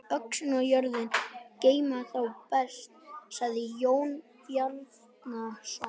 Öxin og jörðin geyma þá best, sagði Jón Bjarnason.